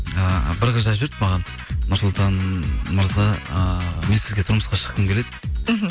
ы бір қыз жазып жіберді маған нұрсұлтан мырза ыыы мен сізге тұрмысқа шыққым келеді мхм